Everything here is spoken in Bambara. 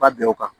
Ba bɛn o kan